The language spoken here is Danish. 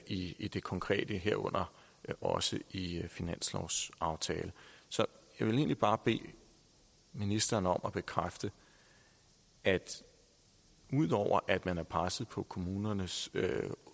i i det konkrete herunder også i finanslovsaftalen så jeg vil egentlig bare bede ministeren om at bekræfte at ud over at man er presset på kommunernes